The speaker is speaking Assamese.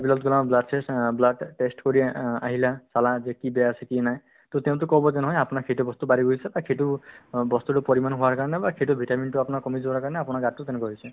সিবিলাক ধৰা blood test অ blood অ test কৰি অ~ আহিলা চালা যে কি বেয়া আছে কি নাই to তেওঁতো ক'ব যে নহয় আপোনাৰ সেইটো বস্তু বাঢ়ি গৈছে বা সেইটো অ বস্তুতোৰ পৰিমান হোৱাৰ কাৰণে বা সেইটো vitamin তো আপোনাৰ কমি যোৱাৰ কাৰণে আপোনাৰ গাতো তেনেকুৱা হৈছে